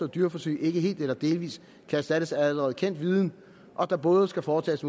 dyreforsøg ikke helt eller delvis kan erstattes af allerede kendt viden og at der både skal foretages